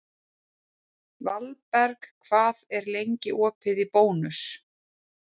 Valberg, hvað er lengi opið í Bónus?